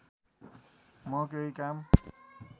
म केहि काम